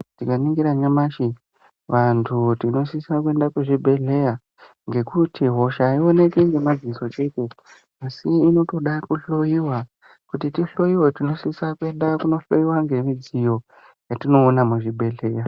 Tikaningira nyamashi vantu tinosise kuenda kuzvibhedhlera nekuti hosha hayionekwi nemadziso chete asi inotoda kuhloyiwa kuti tihloyiwe tinosise kuenda kunohloyiwa nemidziyo yatinoona muzvibhehlera.